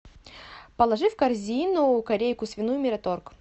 положи в корзину корейку свиную мираторг